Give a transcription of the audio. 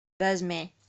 вязьме